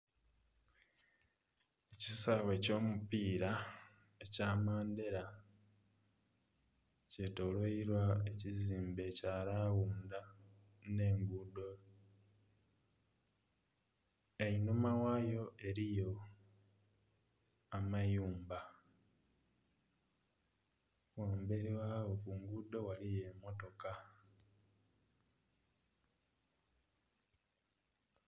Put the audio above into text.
Ekisaawe ekyo mupira ekya mandera kye tolweilwa ekizimbe kya lawundha nhe enguudo einhuma ghayo eriyo amayumba ghamberi ghawo ku luguuudo ghaligho emotoka.